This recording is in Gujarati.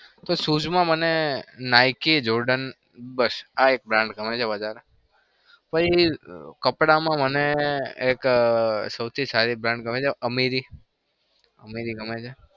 તો shoes માં મને nick jorden બસ આ એક brand ગમે છે વધારે. પછી કપડામાં મને એક સૌથી સારી brand ગમે છે ameri ગમે છે.